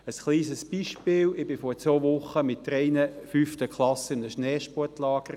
Ein kleines Beispiel: Ich war vor zwei Wochen mit drei fünften Klassen in einem Schneesportlager.